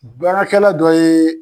Baarakɛla dɔ ye